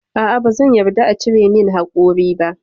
A'a bazan yarda a cire min haƙori ba.